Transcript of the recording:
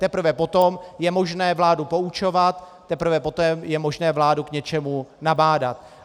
Teprve potom je možné vládu poučovat, teprve poté je možné vládu k něčemu nabádat.